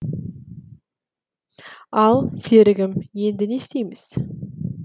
ал серігім енді не істейміз